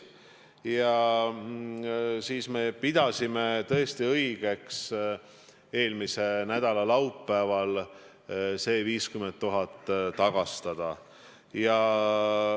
Ja siis me pidasime tõesti õigeks eelmise nädala laupäeval see 50 000 tagastada.